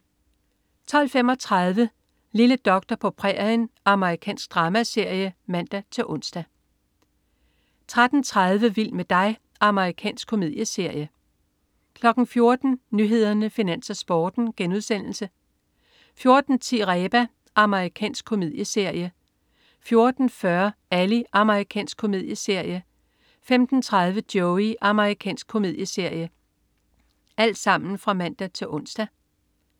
12.35 Lille doktor på prærien. Amerikansk dramaserie (man-ons) 13.30 Vild med dig. Amerikansk komedieserie (man-ons) 14.00 Nyhederne, Finans, Sporten* (man-ons) 14.10 Reba. Amerikansk komedieserie (man-ons) 14.40 Ally. Amerikansk komedieserie (man-ons) 15.30 Joey. Amerikansk komedieserie (man-ons)